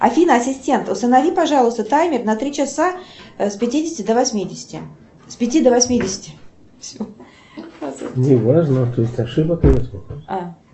афина ассистент установи пожалуйста таймер на три часа с пятидесяти до восьмидесяти с пяти до восьмидесяти